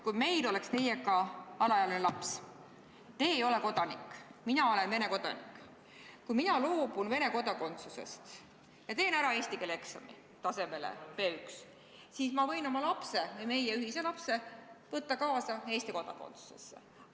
Kui minul oleks teiega alaealine laps – teie ei ole kodanik, mina olen Vene kodanik – ning kui mina loobuksin Vene kodakondsusest ja teeksin ära eesti keele eksami tasemel B1, siis ma võiksin oma lapse ehk meie ühise lapse võtta kaasa Eesti kodakondsusesse.